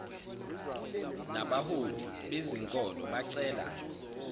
nabaholi bezenkolo bacela